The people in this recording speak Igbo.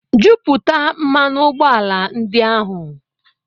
Jupụta mmanụ ụgbọala ndị ahụ